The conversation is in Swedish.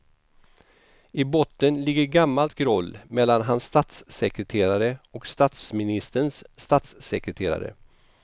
I botten ligger gammalt groll mellan hans statssekreterare och statsministerns statssekreterare.